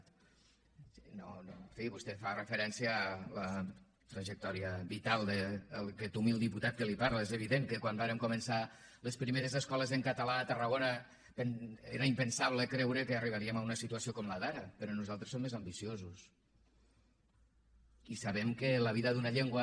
en fi vostè fa referència a la trajectòria vital d’aquest humil diputat que li parla és evident que quan vàrem començar les primeres escoles en català a tarragona era impensable creure que arribaríem a una situació com la d’ara però nosaltres som més ambiciosos i sabem que la vida d’una llengua